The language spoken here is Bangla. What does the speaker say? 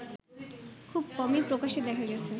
খুব কমই প্রকাশ্যে দেখা গেছে